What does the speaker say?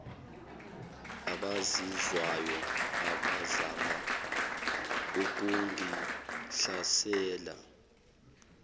abazizwayo abazama ukungihlasela